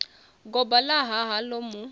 goba ḽa hana ḽo mu